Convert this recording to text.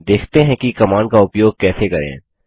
देखते हैं कि कमांड का उपयोग कैसे करें